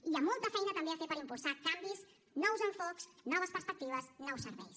i hi ha molta feina també a fer per impulsar canvis nous enfocaments noves perspectives nous serveis